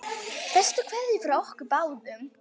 Bestu kveðjur frá okkur báðum.